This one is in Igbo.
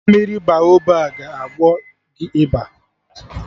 Mmiri Baoba ga agwọ gị ịba